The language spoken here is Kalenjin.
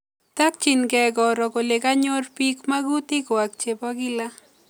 Takchinkei koro kole kanyor piik magutik kwak che po kila